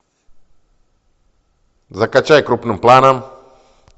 закачай крупным планом